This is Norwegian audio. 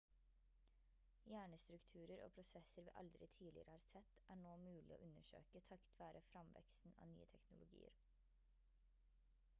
hjernestrukturer og prosesser vi aldri tidligere har sett er nå mulig å undersøke takket være fremveksten av nye teknologier